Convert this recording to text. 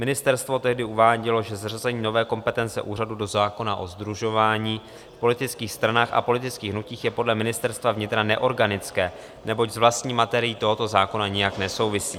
Ministerstvo tehdy uvádělo, že zařazení nové kompetence úřadu do zákona o sdružování v politických stranách a politických hnutích je podle Ministerstva vnitra neorganické, neboť s vlastní materií tohoto zákona nijak nesouvisí.